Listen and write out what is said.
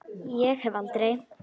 Ég hef aldrei.